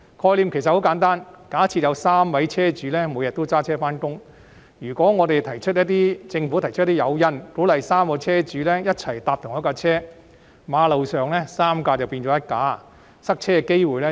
概念很簡單，假設有3名車主每天也駕車上班，如果政府提出一些誘因，鼓勵3名車主一起乘坐同一輛車，馬路上3輛車變成1輛車，從而減低塞車的機會。